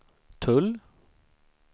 tull